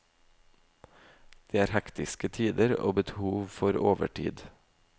Det er hektiske tider, og behov for overtid.